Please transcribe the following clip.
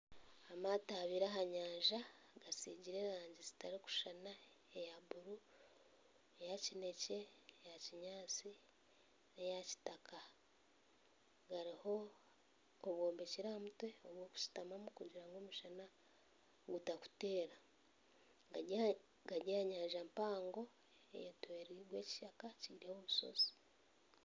Amaato abiri aha nyanja gasigire erangi zitarikushushana eya buru eya kinekye eyakinyatsi neya kitaka hariho obwombekire aha mutwe obw'okushutamamu kugira ngu omushana gutakuteera gari aha nyanja mpango Kandi ekishaka kiriho omushozi